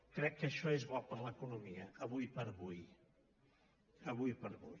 crec que això és bo per a l’economia ara per ara ara per ara